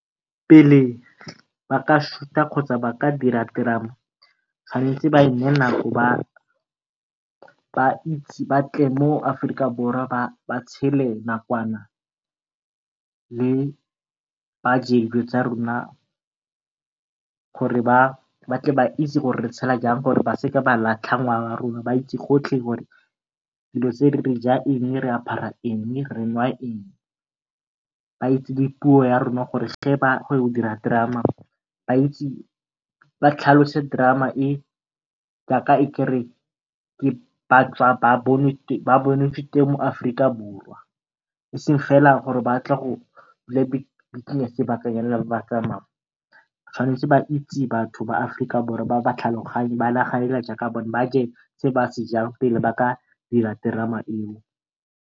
Pele ba ka shuta kgotsa ba ka dira terama, tshwanetse ba e neye nako ba tle mo Aforika Borwa ba tshele nakwana, le ba je dilo tsa rona gore ba tle ba itse gore re tshela jang gore ba seke ba latlha ngwao ya rona. Ba itse gotlhe gore dilo tse re jang eng, re apara eng, re nwa eng. Ba itse le puo ya rona gore ge ba ya go dira terama, ba itse ba tlhalose terama e jaaka e kare ba tswa ba bonetswe teng mo Aforika Borwa eseng fela gore ba tle go dula sebakanyana fela ebe ba tswa be ba tsamaya. Tshwanetse ba itse batho ba Aforika Borwa ba ba tlhaloganye ba nagane hela jaaka bone ba je se ba sejang pele ba ka dira terama eo.